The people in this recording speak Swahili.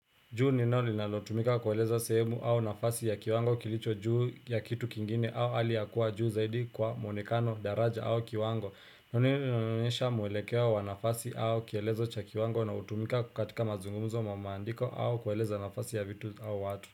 Juu ni neno linalotumika kueleza sehemu au nafasi ya kiwango kilicho juu ya kitu kingine au hali ya kua juu zaidi kwa mwonekano daraja au kiwango. Ni neno linaloonyesha mwelekeo wa nafasi au kielezo cha kiwango na hutumika katika mazungumzo mamaandiko au kueleza nafasi ya vitu au watu.